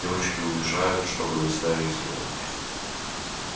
девочки уезжают чтобы доставить его